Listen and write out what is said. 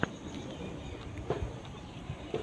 у тебя будет лайф уив бразерс